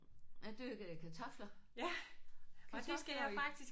Der dyrkede jeg kartofler. Kartofler i